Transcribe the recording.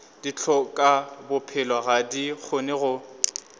dihlokabophelo ga di kgone go